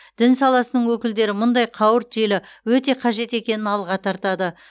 дін саласының өкілдері мұндай қауырт желі өте қажет екенін алға тартады